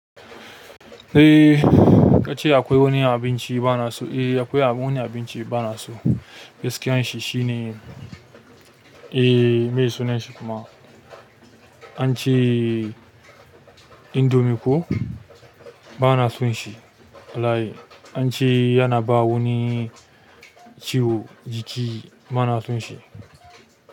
Eh ka ce akwai wani abinci ba na so. Eh, akwai wani abinci ba na so. Gaskiyan shi shi ne eh meye sunan shi kuma an ce indomie ko ba na son shi wallahi an ce yana ba wani ciwo jiki ba na son shi.